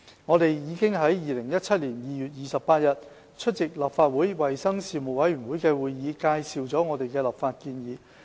我們已於2017年2月28日出席立法會衞生事務委員會的會議，介紹我們的立法建議。